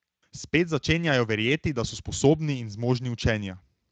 Spet začenjajo verjeti, da so sposobni in zmožni učenja.